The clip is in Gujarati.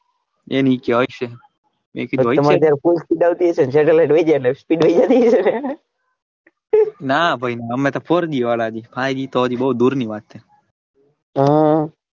એ નીચે હશે અત્યારે તમારા ગરે તો full speed આવતી હશે ને satellite ના ભાઈ ના અમે તો ફોરજી વાળા હજુફાઇવજી તો હજુ દૂર ની વાત છે હ,